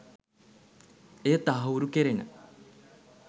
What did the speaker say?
එය තහවුරු කෙරෙන